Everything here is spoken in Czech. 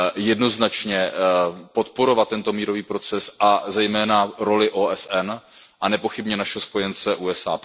Jednoznačně podporovat tento mírový proces a zejména roli OSN a nepochybně našeho spojence USA.